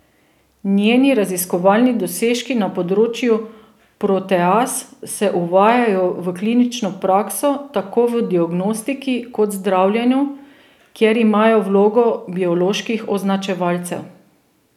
Njeni raziskovalni dosežki na področju proteaz se uvajajo v klinično prakso tako v diagnostiki kot zdravljenju, kjer imajo vlogo bioloških označevalcev.